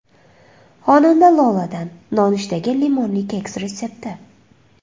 Xonanda Loladan nonushtaga limonli keks retsepti.